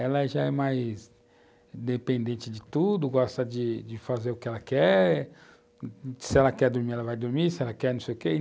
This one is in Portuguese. Ela já é mais dependente de tudo, gosta de fazer o que ela quer, se ela quer dormir, ela vai dormir, se ela quer não sei o quê.